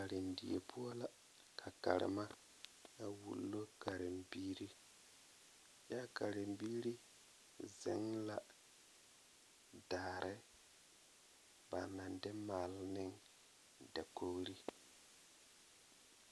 Karendie poɔ la ka a Karema a wulo katembiiri kyɛ a karembiiri zeŋ la daare ba naŋ de maale meŋ dakogri.